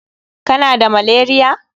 Kana da malaria?